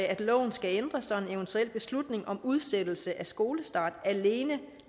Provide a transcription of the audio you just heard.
at loven skal ændres så en eventuel beslutning om udsættelse af skolestart alene